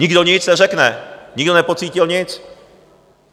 Nikdo nic neřekne, nikdo nepocítil nic.